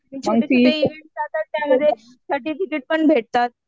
छोटे इव्हेंट राहतात त्यामध्ये सर्टिफिकेट पण भेटतात.